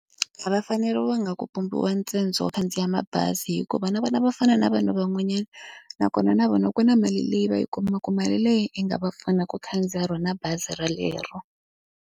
A va faneriwanga ku pumberiwa ntsengo wo khandziya mabazi hikuva na vona va fana na vanhu van'wanyana, nakona na vona ku na mali leyi va yi kumaka mali leyi i nga va pfuna ku khandziya rona bazi rolero.